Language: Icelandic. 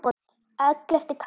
Ellefti kafli